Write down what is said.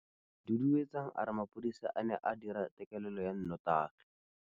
Duduetsang a re mapodisa a ne a dira têkêlêlô ya nnotagi.